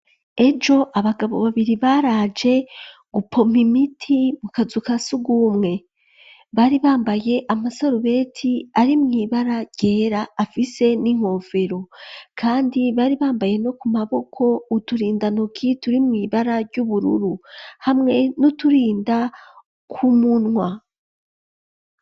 Ejo abagabo babiri baraje gupompa imiti mu kazu kasugumwe ,bari bambaye amasorobeti ari mw’ibara ryera afise ni nkofero kandi bari bambaye no ku maboko uturinda ntoki turi mw’ibara ry'ubururu hamwe nu turinda ku munwa.